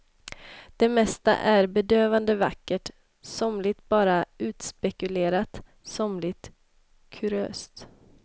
Det mesta är bedövande vackert, somligt bara utspekulerat, somligt kuriöst.